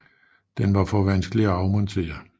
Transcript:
Den var for vanskelig at afmontere